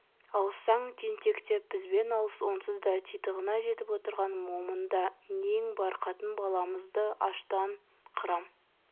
алыссаң тентек деп бізбен алыс онсыз да титығына жетіп отырған момында нең бар қатын-баламызды аштан қырам